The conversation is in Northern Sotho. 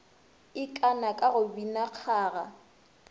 ikana ka go bina kgaga